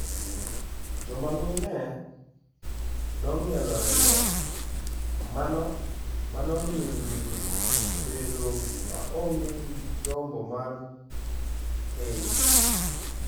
Joma mine nong'ielo rengo, mano miyo nyiri bedo maonge gi gombo mar keny.